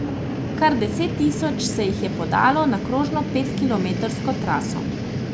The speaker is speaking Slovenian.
Kar deset tisoč se jih je podalo na krožno petkilometrsko traso.